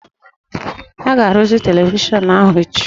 A ga-arụzi televishọnụ ahụ echi